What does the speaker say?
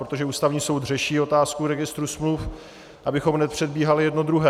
Protože Ústavní soud řeší otázku registru smluv, abychom nepředbíhali jedno druhé.